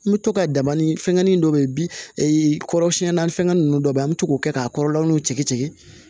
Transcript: N bɛ to ka dabani fɛngɛnin dɔ bɛ yen kɔrɔsiyɛnna fɛngɛ ninnu dɔ bɛ yen an bɛ to k'o kɛ k'a kɔrɔlaw tigɛ tigɛ